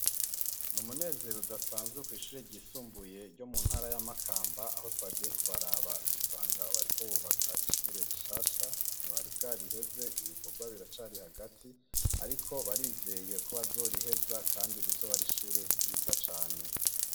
Ni umunezero udasanzwe kw'ishure ryisumbuye ryo mu ntara ya Makamba aho twagiye kubaraba dusanga bariko bubaka ishure rishasha ntibari bwariheze ibikorwa biracari hagati ariko barizeye ko bazoriheza kandi rizoba ari ishure ryiza cane.